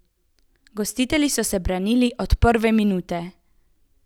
Gostitelji so se branili od prve minute.